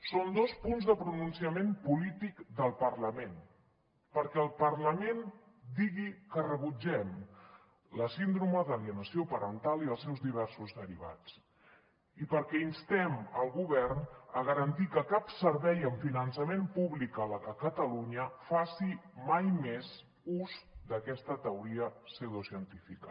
són dos punts de pronunciament polític del parlament perquè el parlament digui que rebutgem la síndrome d’alienació parental i els seus diversos derivats i perquè instem el govern a garantir que cap servei amb finançament públic a catalunya faci mai més ús d’aquesta teoria pseudocientífica